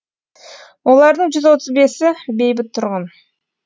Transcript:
олардың жүз отыз бесі бейбіт тұрғын